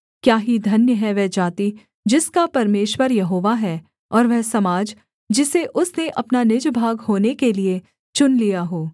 क्या ही धन्य है वह जाति जिसका परमेश्वर यहोवा है और वह समाज जिसे उसने अपना निज भाग होने के लिये चुन लिया हो